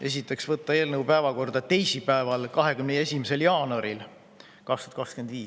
Esiteks, võtta eelnõu päevakorda teisipäeval, 21. jaanuaril 2025.